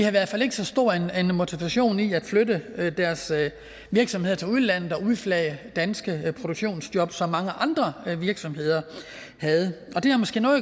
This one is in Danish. i hvert fald ikke så stor en motivation til at flytte deres virksomheder til udlandet og udflage danske produktionsjob som mange andre virksomheder havde og det har måske noget